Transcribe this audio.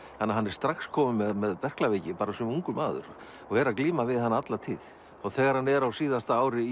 hann er strax kominn með berklaveiki sem ungur maður og er að glíma við hana alla tíð þegar hann er á síðasta ári